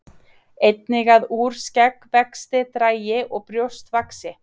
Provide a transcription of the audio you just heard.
Einnig að úr skeggvexti dragi og brjóst vaxi.